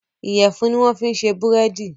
Iyẹ̀fun ni wọ́n fi ṣe búrèdì